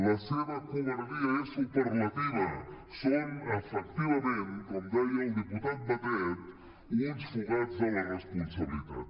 la seva covardia és superlativa són efectivament com deia el diputat batet uns fugats de la responsabilitat